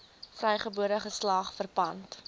vrygebore geslag verpand